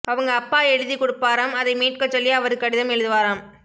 அவங்க அப்பா எழுதி குடுப்பாராம் அதை மீட்கச்சொல்லி அவரு கடிதம் எழுதுவாராம்